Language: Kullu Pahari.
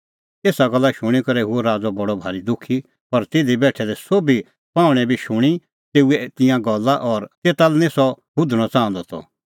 एसा गल्ला शूणीं करै हुअ राज़अ बडअ भारी दुखी पर तिधी बेठै दै सोभी पाहुंणैं बी शूणीं तेऊए तिंयां गल्ला और तेता लै निं सह हुधणअ च़ाहंदअ त